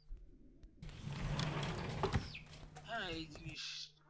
হ্যাঁ এই জিনিস